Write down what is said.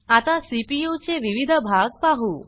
आता सीपीयू चे विविध भाग पाहु